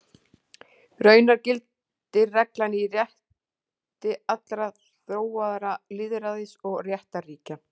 Raunar gildir reglan í rétti allra þróaðra lýðræðis- og réttarríkja.